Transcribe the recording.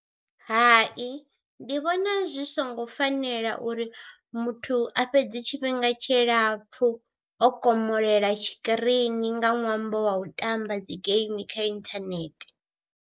Hai ndi vhona zwi songo fanela uri muthu a fhedze tshifhinga tshilapfhu o komolela tshikirini nga ṅwambo wa u tamba dzi geimi kha inthanethe.